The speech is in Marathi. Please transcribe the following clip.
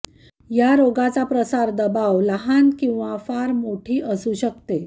या रोगाचा प्रसार दबाव लहान किंवा फार मोठी असू शकते